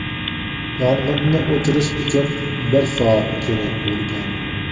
Yong‘inni o‘chirish uchun bir soat kerak bo‘lgan.